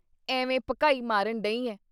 ਏਵੇਂ ਭਕਾਈ ਮਾਰਨ ਡਹੀ ਆਂ।”